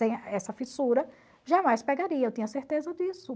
Sem essa fissura, jamais pegaria, eu tinha certeza disso.